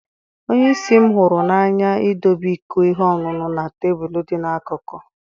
Onye isi m hụrụ n'anya idobe iko ihe ọṅụṅụ na tebụl dị n'akụkụ.